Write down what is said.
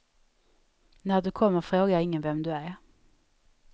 När du kommer frågar ingen vem du är.